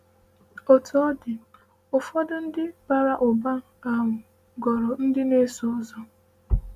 “Otú ọ dị, ụfọdụ ndị bara ụba um ghọrọ ndị na-eso ụzọ.”